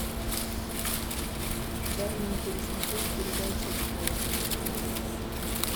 дай мне пересмотреть передачу стс на телевизоре